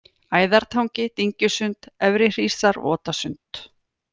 Æðartangi, Dyngjusund, Efrihrísar, Votasund